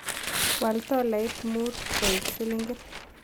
Waal tolait mut koik silingit